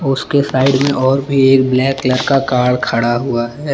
उसके साइड में और भी एक ब्लैक कलर का कार खड़ा हुआ है।